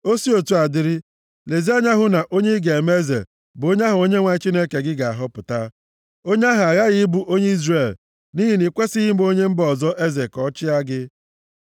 O si otu a dịrị, lezie anya hụ na onye ị ga-eme eze bụ onye ahụ Onyenwe anyị Chineke gị ga-ahọpụta. Onye ahụ aghaghị ịbụ onye Izrel nʼihi na i kwesighị ime onye mba ọzọ eze ka ọ chịa gị.